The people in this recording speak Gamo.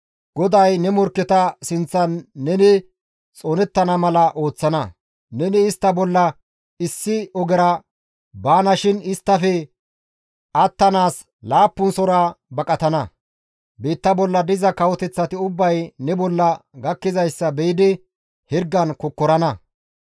GODAY ne morkketa sinththan neni xoonettana mala ooththana; neni istta bolla issi ogera baanashin isttafe attanaas laappunasora baqatana; biitta bolla diza kawoteththati ubbay ne bolla gakkizayssa be7idi hirgan kokkorana.